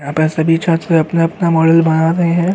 यहाँ पर सभी छात्र अपना-अपना मॉडल बना रहे हैं।